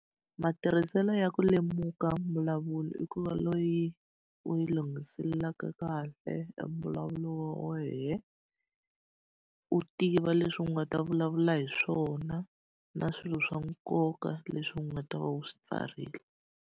Matirhiselo ya ku lemuka mbulavulo i ku va loyi u yi lunghiselelaka kahle a mbulavulo wa wena. U tiva leswi u nga ta vulavula hi swona, na swilo swa nkoka leswi u nga ta va u swi tsarile.